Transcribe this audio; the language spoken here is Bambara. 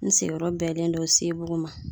N sigiyɔrɔ bɛnnen don Sebugu ma.